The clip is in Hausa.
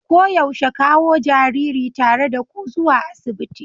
Koyaushe kawo jariri tare da ku zuwa asibiti.